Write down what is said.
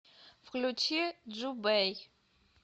включи джубэй